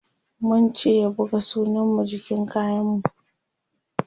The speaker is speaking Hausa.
mun ce ya buga sunan mu jikin kayan mu